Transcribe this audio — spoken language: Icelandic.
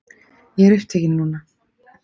Ég er upptekinn núna.